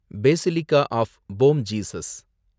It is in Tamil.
Basilica of Bom Jesus